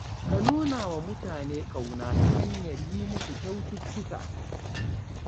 Ka nuna wa mutane ƙauna ta hanyar yi musu kyaututtuka